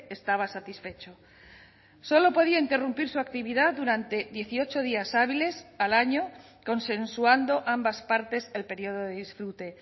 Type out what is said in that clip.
estaba satisfecho solo podía interrumpir su actividad durante dieciocho días hábiles al año consensuando ambas partes el periodo de disfrute